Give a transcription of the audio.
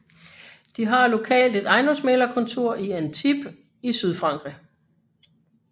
De har lokalt et ejendomsmægler kontor i Antibes i Sydfrankrig